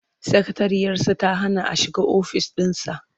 Sakatariyarsa ta hana a shiga ofis ɗinsa.